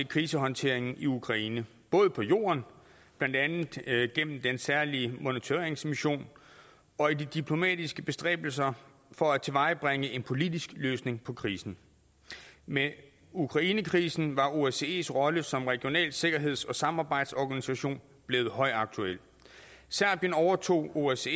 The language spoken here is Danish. krisehåndteringen i ukraine både på jorden blandt andet gennem den særlige monitoreringsmission og i de diplomatiske bestræbelser for at tilvejebringe en politisk løsning på krisen med ukrainekrisen var osces rolle som regional sikkerheds og samarbejdsorganisation blevet højaktuel serbien overtog osce